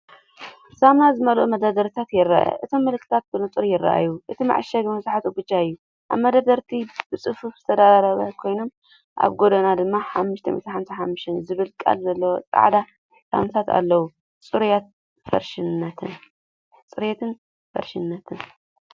ሳሙና ዝመልአ መደርደሪታት ይርአ። እቶም ምልክታት ብንጹር ይረኣዩ። እቲ መዐሸጊ መብዛሕትኡ ብጫ እዩ። ኣብ መደርደሪታት ብጽፉፍ ዝተደራረቡ ኮይኖም፡ ኣብ ጎድኑ ድማ '555' ዝብል ቃል ዘለዎም ጻዕዳ ሳሙናታት ኣለዉ። ጽሬትን ፍረሽነትን።